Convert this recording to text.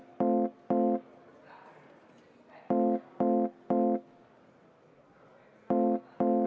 Vaheaeg 20 minutit.